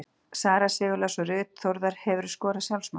Sara Sigurlás og Ruth Þórðar Hefurðu skorað sjálfsmark?